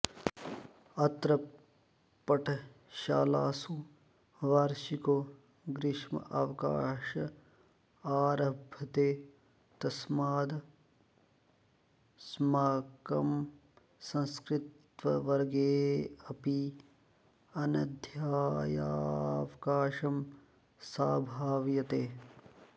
अत्र पठशालासु वार्षिको ग्रीष्मावकाश आरभते तस्मादस्माकं संस्कृत्वर्गोऽपि अनध्यायावकाशं संभाव्यते